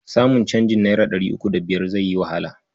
Samun canjin naira ɗari uku da biyar zai yi wahala.